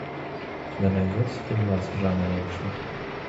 у тебя найдется фильмас в жанре экшн